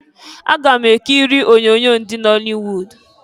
Aga m ekiri onyoonyo ndị nọlịwud.